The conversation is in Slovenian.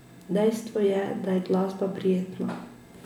Dejstvo je, da je glasba prijetna.